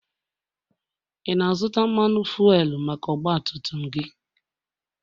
ị na-azụta Mmanụ fuelu maka ọgbatumtum gị?